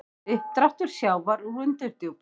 Uppdráttur sjávar úr undirdjúpum